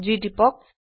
G টিপক